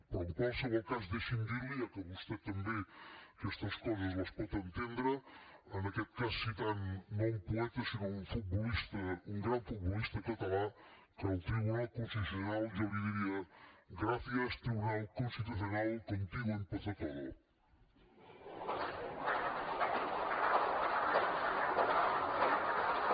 però en qualsevol cas deixi’m dir li ja que vostè també aquestes coses les pot entendre en aquest cas citant no un poeta sinó un futbolista un gran futbolista català que al tribunal constitucional jo li diria gracias tribunal constitucional contigo empezó todo